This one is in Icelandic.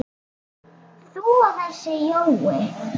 þú og þessi Jói?